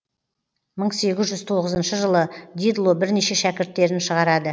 мың сегіз жүз тоғызыншы жылы дидло бірнеше шәкірттерін шығарады